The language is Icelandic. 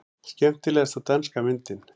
Skemmtilegasta danska myndin